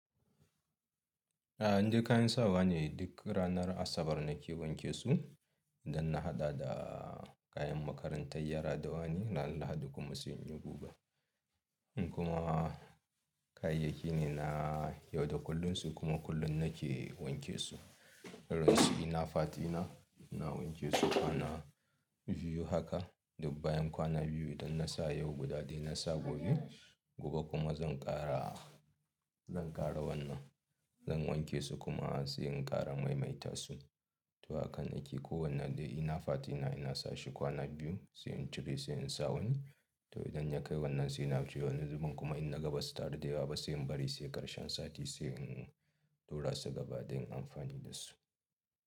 A'a, indai kayan sawa ne duk ranar Asabar na ke wanke su don na haɗa da kayan makarantar yara da wani ranar Lahadi kuma sai inyi guga. Kuma kayayyaki ne na yau da kullun su kuma kullum na ke wanke su. Irin su inner part dina, ina wanke su kwana biyu haka duk bayan kwana biyu idan na sa yau guda daya na sa gobe. Gobe kuma zan ƙara, zan ƙara wannan, zan wanke su kuma sai in ƙara maimaita su. Toh hakan nake kowanne dai inner part dina ina sa shi kwana biyu sai in cire sai in sa wani. Toh idan ya kai wannan sai na ajije wani zubin kuma in na ga ba su taru da yawa ba sai in bari sai ƙarshen sati sai in lura su gaba dan in amfani da su.